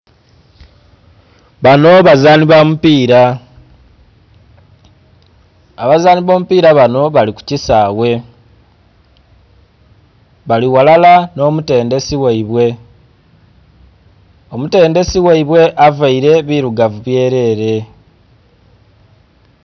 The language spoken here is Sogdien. Banho bazanhi bamupila, abazanhi abomupila banho bali kukisaghe, bali ghalala nho omutendhesi gheibwe, Omutendhesi gheibwe aveile bilugavu byelele.